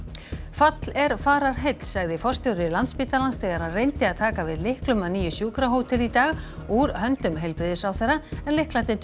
fall er fararheill sagði forstjóri Landspítalans þegar hann reyndi að taka við lyklum að nýju sjúkrahóteli í dag úr höndum heilbrigðisráðherra en lyklarnir